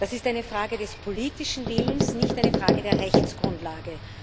Das ist eine Frage des politischen Willens, nicht eine Frage der Rechtsgrundlage.